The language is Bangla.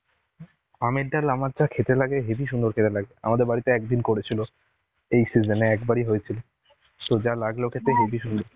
আমের ডাল আমার যা খেতে লাগে হেবি সুন্দর খেতে লাগে আমাদের বাড়িতে একদিন করেছিল. এই season এ একবারই হয়েছিল. so যা লাগলো খেতে হেবি সুন্দর.